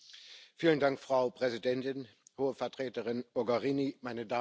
Frau Präsidentin, Hohe Vertreterin Mogherini, meine Damen und Herren!